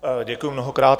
Děkuju mnohokrát.